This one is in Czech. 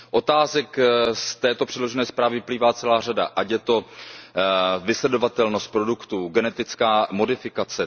Otázek z této předložené zprávy vyplývá celá řada, ať je to vysledovatelnost produktů, genetická modifikace.